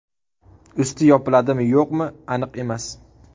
Usti yopiladimi-yo‘qmi, aniq emas.